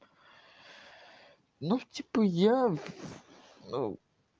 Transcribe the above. ну типа я ну